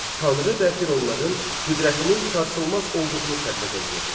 Tanrı və fironların qüdrətinin sarsılmaz olduğunu təbliğ eləyirdi.